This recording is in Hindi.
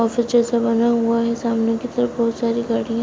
ऑफिस जैसा बना हुआ है सामने की तरफ बहोत सारी गाडियां --